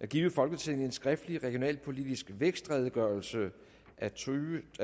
at give folketinget en skriftlig regionalpolitisk vækstredegørelse af totusinde